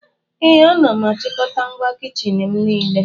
Ee, ana m achịkọta ngwa kichin m niile